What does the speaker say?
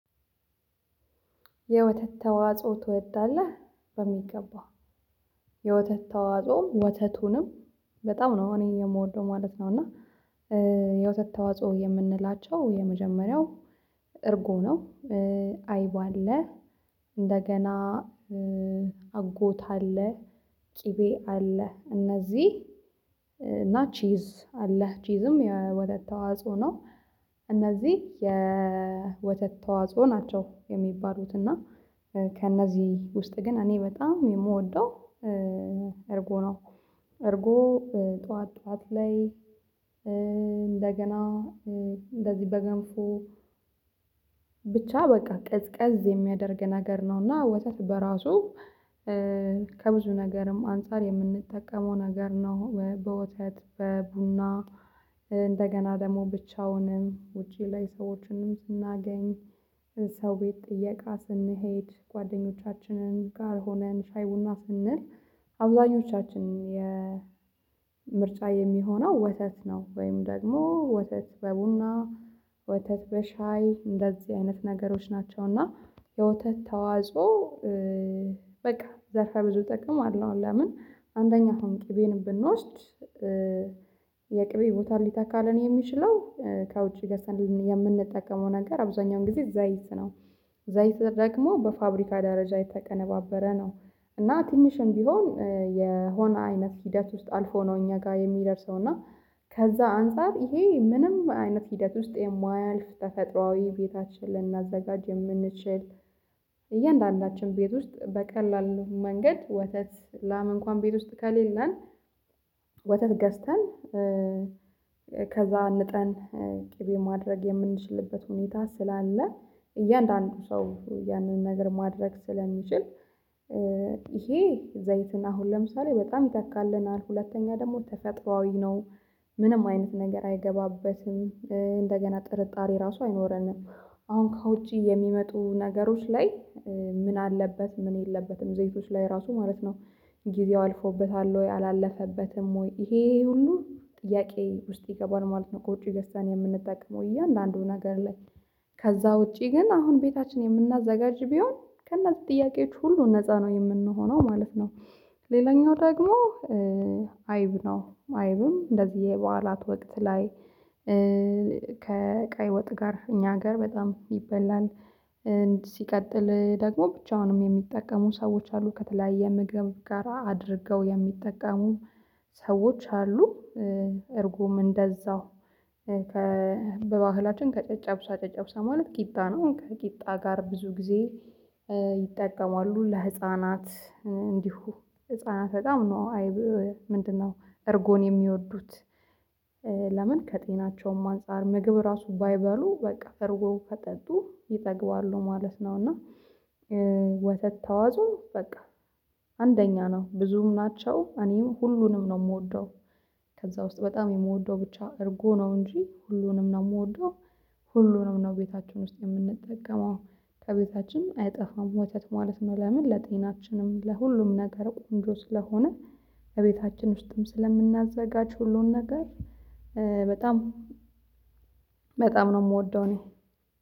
የወተት ተዋጽኦ ትወዳለህ በሚገባ የወተት ተዋጽኦም ወተቱንም በጣም ነው እኔ የምወደው ማለት ነው። እና የወተት ተዋጽኦ የምንላቸው የመጀመሪያው እርጎ ነው። አይብ አለ። እንደገና አጎት አለ። ቅቤ አለ እነዚህ እና ቺዝ አለ ቺዝም የወተት ተዋጽኦ ነው። እነዚህ የወተት ተዋጽኦ ናቸው የሚባሉት እና ከእነዚህ ውስጥ ግን እኔ በጣም የምወደው እርጎ ነው። እርጎ ጠዋት ጠዋት ላይ እንደገና እንደዚህ በገንፎ ብቻ በቃ ቀዝቀዝ የሚያደርግ ነገር ነውና ወተት በራሱ ከብዙ ነገርም አንፃር የምንጠቀመው ነገር ነው። በወተት በቡና እንደገና ደግሞ ብቻውንም ውጪ ላይ ሰዎችንም ስናገኝ ሰው ቤት ጥየቃ ስንሄድ ጓደኞቻችንን ጋር ሆነን ሻይ ቡና ስንል አብዛኞቻችን የ ምርጫ የሚሆነው ወተት ነው። ወይም ደግሞ ወተት በቡና ወተት በሻይ እንደዚህ አይነት ነገሮች ናቸው። እና የወተት ተዋጾ በቃ ዘርፈ ብዙ ጥቅም አለው። ለምን አንደኛ አሁን ቅቤን ብንወስድ የቅቤ ቦታ ሊታካልን የሚችለው ከውጪ ገዝተን የምንጠቀመው ነገር አብዛኛውን ጊዜ ዘይት ነው። ዘይት ደግሞ በፋብሪካ ደረጃ የተቀነባበረ ነው። እና ትንሽም ቢሆን የሆነ አይነት ሂደት ውስጥ አልፎ ነው እኛ ጋር የሚደርሰው እና። ከዛ አንፃር ይሄ ምንም አይነት ሂደት ውስጥ የማያልፍ ተፈጥሮአዊ ቤታችን ልናዘጋጅ የምንችል። እያንዳንዳችን ቤት ውስጥ በቀላል መንገድ ወተት ላም እንኳን ቤት ውስጥ ከሌለን ወተት ገዝተን ከዛ ንጠን ቅቤ ማድረግ የምንችልበት ሁኔታ ስላለ እያንዳንዱ ሰው ያንን ነገር ማድረግ ስለሚችል ይሄ ዘይትን አሁን ለምሳሌ በጣም ይተካልናል ሁለተኛ ደግሞ ተፈጥሮአዊ ነው። ምንም አይነት ነገር አይገባበትም እንደገና ጥርጣሬ ራሱ አይኖረንም። አሁን ከውጪ የሚመጡ ነገሮች ላይ ምን አለበት ምን የለበትም ዘይቶች ላይ ራሱ ማለት ነው። ጊዜው አልፎበታል ወይ አላለፈበትም ወይ ይሄ ሁሉ ጥያቄ ውስጥ ይገባል ማለት ነው። ከዉጭ ገዝተን የምንጠቀመው እያንዳንዱን ነገር ላይ ከዛ ውጪ ግን አሁን ቤታችን የምናዘጋጅ ቢሆን ከእነዚህ ጥያቄዎች ሁሉ ነፃ ነው የምንሆነው ማለት ነው። ሌላኛው ደግሞ አይብ ነው አይብም እንደዚህ የበዓላት ወቅት ላይ ከቀይ ወጥ ጋር እኛ ሀገር በጣም ይበላል። ሲቀጥል ደግሞ ብቻውንም የሚጠቀሙ ሰዎች አሉ ከተለያየ ምግብ ጋር አድርገው የሚጠቀሙ ሰዎች አሉ። እርጎም እንደዛው በባህላችን ከጨጨብሳ ጨጨብሳ ማለት ቂጣ ነው ከቂጣ ጋር ብዙ ጊዜ ይጠቀማሉ ለህፃናት እንዲሁ ህፃናት በጣም ነው አይብ ምንድነው? እርጎን የሚወዱት ለምን ከጤናቸውም አንፃር ምግብ ራሱ ባይበሉ በቃ እርጎ ከጠጡ ይጠግባሉ ማለት ነው። እና ወተት ተዋጾ በቃ አንደኛ ነው ብዙም ናቸው እኔም ሁሉንም ነው የምወደው ከዛ ውስጥ በጣም የምወደው ብቻ እርጎ ነው እንጂ ሁሉንም ነው የምወደው። ሁሉንም ነው ቤታችሁን ውስጥ የምንጠቀመው ከቤታችን አይጠፋም ወተት ማለት ነው። ለምን ለጤናችንም ለሁሉም ነገር ቆንጆ ስለሆነ ከቤታችን ውስጥም ስለምናዘጋጅ ሁሉን ነገር በጣም በጣም ነው የምወደው። እኔ